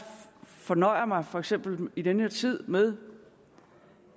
fornøjer mig for eksempel i den her tid med